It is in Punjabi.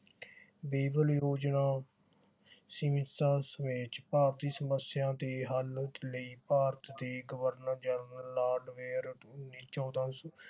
ਯੋਜਨਾ ਸਮੇਤ ਭਾਰਤੀ ਸਮੱਸਿਆ ਦੇ ਹਲ ਲਈ ਭਾਰਤ ਦੇ ਗਵਰਨਰ ਜਨਰਲ ਲਾਰਡ ਵੇਅਰ ਨੇ ਚੌਂਦਾ ਸੌ